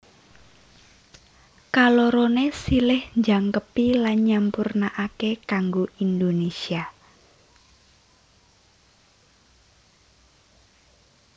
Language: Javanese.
Kaloroné silih njangkepi lan nyampurnaaké kanggo Indonésia